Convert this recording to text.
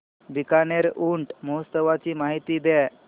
बीकानेर ऊंट महोत्सवाची माहिती द्या